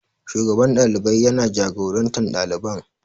Shugaban ɗalibai ya na jagoran taron ɗaliban